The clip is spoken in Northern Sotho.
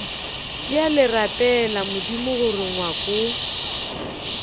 bjale rapela modimo gore ngwako